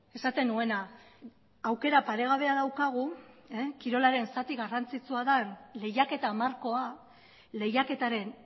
esaten nuena aukera paregabea daukagu kirolaren zati garrantzitsua den lehiaketa markoa lehiaketaren